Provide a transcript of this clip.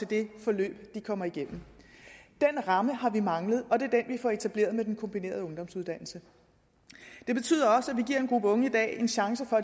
det forløb de kommer igennem den ramme har manglet og det er den vi får etableret med den kombinerede ungdomsuddannelse det betyder også at vi giver en gruppe unge en chance for